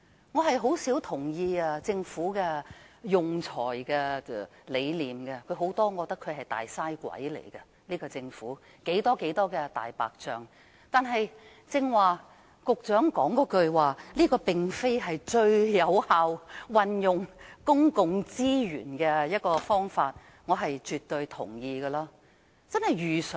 我甚少贊同政府的用財理念，因我認為政府在多方面也是"大嘥鬼"，有很多"大白象"工程，但對於局長剛才指出這並非最有效運用公共資源的方法，我卻絕對認同的。